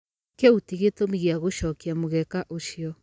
Kiũ ti gĩtũmi gĩa gũcokia mũgeka ucĩo